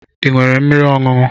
Ị nwere mmiri ọṅụṅụ?